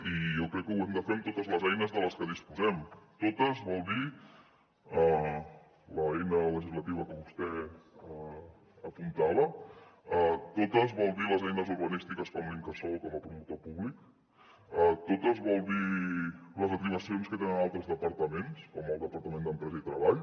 i jo crec que ho hem de fer amb totes les eines de les que disposem totes vol dir l’eina legislativa que vostè apuntava totes vol dir les eines urbanístiques com l’incasòl com a promotor públic totes vol dir les atribucions que tenen altres departaments com el departament d’empresa i treball